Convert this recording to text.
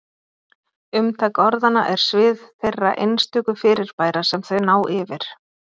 Umtak orðanna er svið þeirra einstöku fyrirbæra sem þau ná yfir.